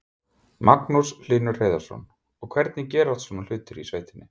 Magnús Hlynur Hreiðarsson: Og hvernig gerast svona hlutir í sveitinni?